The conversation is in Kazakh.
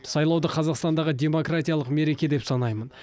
сайлауды қазақстандағы демократиялық мереке деп санаймын